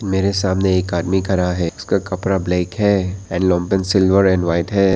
मेरे सामने एक आदमी खड़ा है इसका कपड़ा ब्लैक है एंड सिल्वर एंड व्हाइट है।